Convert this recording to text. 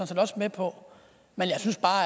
set også med på men jeg synes bare